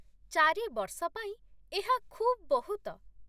ଚିରି ବର୍ଷ ପାଇଁ, ଏହା ଖୁବ୍ ବହୁତ।